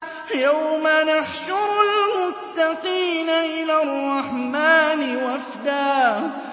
يَوْمَ نَحْشُرُ الْمُتَّقِينَ إِلَى الرَّحْمَٰنِ وَفْدًا